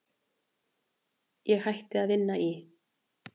Ég hætti að vinna í